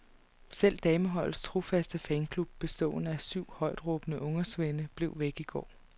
Selv dameholdets trofaste fanklub, bestående af syv højtråbende ungersvende, blev væk i går.